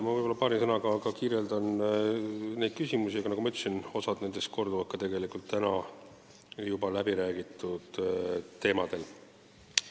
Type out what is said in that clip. Paari sõnaga ma annan ülevaate ka nendest küsimustest, aga nagu ma ütlesin, osa neist oli täna siin juba käsitletud teemadel.